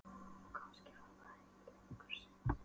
Og kannski var það ekki lengur synd.